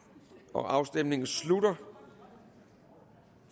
afstemningen slutter